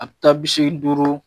A bɛ taa bi seegin duuru